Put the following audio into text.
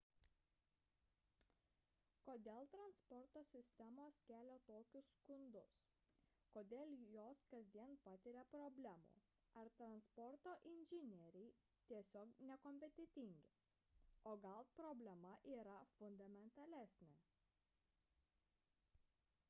kodėl transporto sistemos kelia tokius skundus kodėl jos kasdien patiria problemų ar transporto inžinieriai tiesiog nekompetentingi o gal problema yra fundamentalesnė